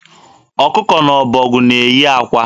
Ọkụkọ na ọbọgwụ na-eyi akwa.